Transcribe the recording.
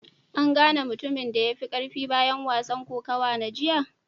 An gane mutumin da ya fi karfi bayan wasan kokawa na jiya?